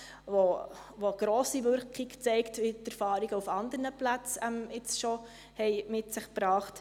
Das zeigt grosse Wirkung, wie die Erfahrung auf anderen Plätzen bereits gezeigt hat.